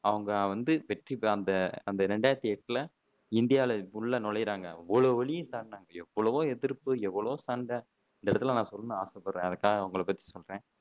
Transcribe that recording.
அவங்க வந்து வெற்றி அந்த அந்த ரெண்டாயிரத்தி எட்டுல இந்தியால உள்ள நுழையுறாங்க எவ்ளோ வலியை தாங்குனாங்க எவ்வளவோ எதிர்ப்பு எவ்வளவோ சண்டை இந்த இடத்துல நான் சொல்லணும்னு ஆசைபடுறேன் அதுக்காக அவங்களை பத்தி சொல்றேன்